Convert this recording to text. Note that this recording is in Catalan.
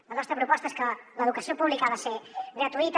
la nostra proposta és que l’educació pública ha de ser gratuïta